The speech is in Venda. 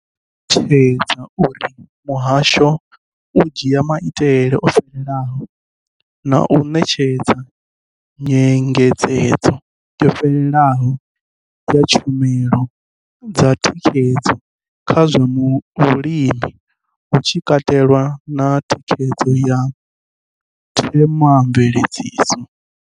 Vho ṱalutshedza uri muhasho u dzhia maitele o fhelelaho na u ṋetshedza nyengedzedzo yo fhelelaho ya tshumelo dza thikhedzo kha zwa vhulimi, hu tshi katelwa na thikhedzo ya themamveledziso.